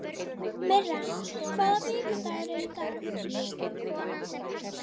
Myrra, hvaða vikudagur er í dag?